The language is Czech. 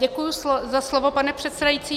Děkuji za slovo, pane předsedající.